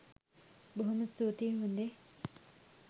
බොහොම ස්තූතියි හො‍ඳේ.